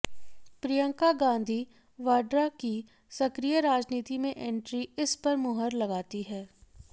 प्रियंका गाधी वाड्रा की सक्रिय राजनीति में एंट्री इस पर मुहर लगाती है